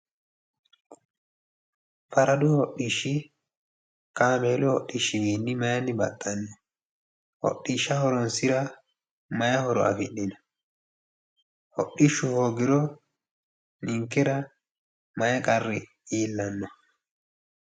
Faradu hodhishshi kamelu hodhishshiwiinni mayeenni baxxanno? Hodhishsha horonsira maye horo afidhino? Hodhishshu hoogiro ninkera maaye qarri iillanno?